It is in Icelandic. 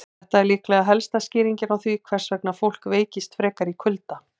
Þetta er líklega helsta skýringin á því hvers vegna fólk veikist frekar í kulda.